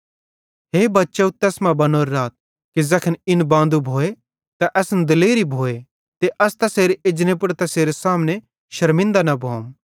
हे बच्चव तैस मां बनोरे राथ कि ज़ैखन इन बांदू भोए त असन दिलेरी भोए ते अस तैसेरे एजने पुड़ तैसेरे सामने शरमिनदे न भोंम